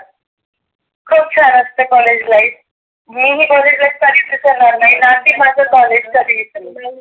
खुप छान असतं कॉलेज लाईफ मी ही कॉलेज लाईफ कधीच विसरणार नई नाकी माझा कॉलेज च